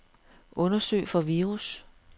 Undersøg for virus.